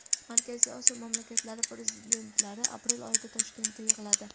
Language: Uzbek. Markaziy Osiyo mamlakatlari prezidentlari aprel oyida Toshkentda yig‘iladi.